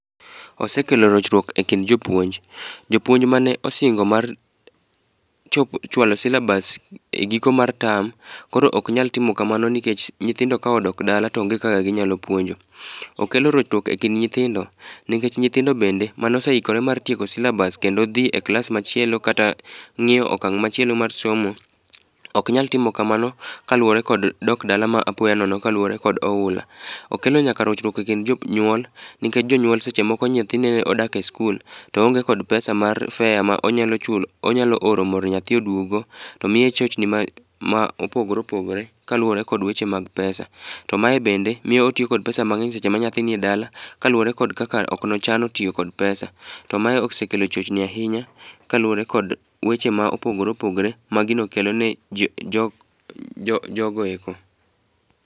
Osekelo rochruok e kind jopuonj, jopuonj mane osingo chopo chwalo silabas e giko mar tam. Koro ok nyal timo kamano nikech nyithindo ka odok dala to onge kaka ginyalo puonjo. Okelo rochruok e kind nyithindo, nikech nyithindo bende manose ikore mar tieko silabas kendo dhi e klas machielo kata ng'iyo okang' machielo mar somo. Ok nyal timo kamano kaluwore kod dok dala ma apoya nono kaluwore kod oula. Okelo nyaka rochruok e kind jonyuol, nikech jonyuol seche moko nyathi nene odak e skul to oonge kod pesa mar fea ma onyalo chulo onyalo oro mondo mi nyathi oduogo go. To miye chochni me ma opogore opogore kaluwore kod weche mag pesa. To mae bende miyo otiyo kod pesa mang'eny seche ma nyathi ni e dala, kaluwore kod kaka ok nochano tiyo kod pesa. To mae osekelo chochni ahinya kaluwore kod weche mopogore opogore ma gino kelo ne jogo eko.